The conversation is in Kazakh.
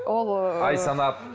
ол ы ай санап